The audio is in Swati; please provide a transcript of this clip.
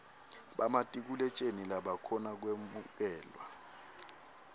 bamatikuletjeni labakhona kwemukelwa